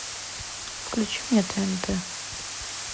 включи мне тнт